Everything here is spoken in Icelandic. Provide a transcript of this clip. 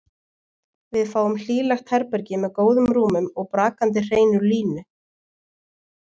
Við fáum hlýlegt herbergi með góðum rúmum og brakandi hreinu líni.